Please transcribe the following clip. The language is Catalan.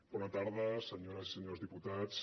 bona tarda senyores i senyors diputats